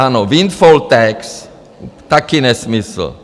Ano, windfall tax, taky nesmysl.